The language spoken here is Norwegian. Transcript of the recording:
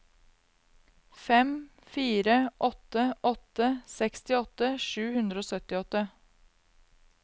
fem fire åtte åtte sekstiåtte sju hundre og syttiåtte